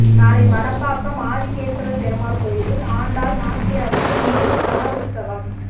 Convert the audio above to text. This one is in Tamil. நாளை மணப்பாக்கம் ஆதிகேசவப் பெருமாள் கோயிலில் ஆண்டாள் நாச்சியாருக்கு நூறு தடா உற்சவம்